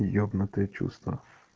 ёбнутые чувства